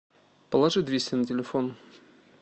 положи двести на телефон